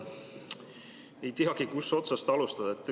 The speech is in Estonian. Ei teagi, kust otsast alustada.